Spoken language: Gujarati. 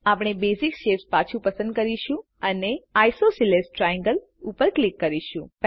આપણે બેસિક શેપ્સ પાછુ પસંદ કરીશું અને આઇસોસેલેસ ટ્રાયેંગલ ઉપર ક્લિક કરીશું